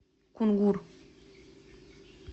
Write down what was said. кунгур